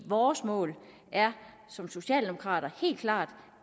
vores mål er som socialdemokrater helt klart